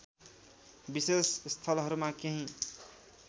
विशेष स्थलहरूमा केही